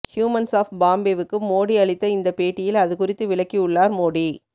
humans of பாம்பேவுக்கு மோடி அளித்த இந்த பேட்டியில் அதுகுறித்து விளக்கியுள்ளார் மோடி